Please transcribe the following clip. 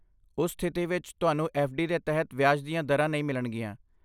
ਉਸ ਸਥਿਤੀ ਵਿੱਚ, ਤੁਹਾਨੂੰ ਐੱਫ਼ ਡੀ ਦੇ ਤਹਿਤ ਵਿਆਜ ਦੀਆਂ ਦਰਾਂ ਨਹੀਂ ਮਿਲਣਗੀਆਂ।